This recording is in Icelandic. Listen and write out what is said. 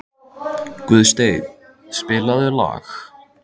Guðstein, spilaðu lag.